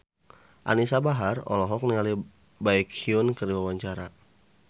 Anisa Bahar olohok ningali Baekhyun keur diwawancara